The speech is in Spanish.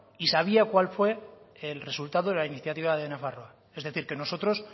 y sabía cuál fue el resultado de la iniciativa de nafarroa es decir que nosotros